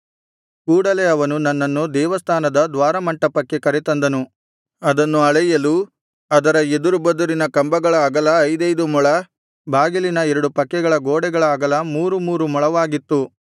ಕೂಡಲೆ ಅವನು ನನ್ನನ್ನು ದೇವಸ್ಥಾನದ ದ್ವಾರಮಂಟಪಕ್ಕೆ ಕರೆ ತಂದನು ಅದನ್ನು ಅಳೆಯಲು ಅದರ ಎದುರುಬದುರಿನ ಕಂಬಗಳ ಅಗಲ ಐದೈದು ಮೊಳ ಬಾಗಿಲಿನ ಎರಡು ಪಕ್ಕದ ಗೋಡೆಗಳ ಅಗಲ ಮೂರು ಮೂರು ಮೊಳವಾಗಿತ್ತು